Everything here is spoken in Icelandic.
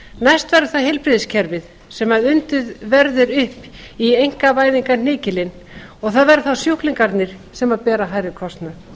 næst verður það heilbrigðiskerfið sem undið verður upp í einkavæðingarhnykilinn og það verða þá sjúklingarnir sem bera hærri kostnað